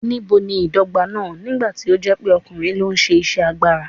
Níbo ni ìdọ́gba náà, nígbà tí ó jẹ́ pé ọkùnrin ló ń ṣe iṣẹ́ agbára?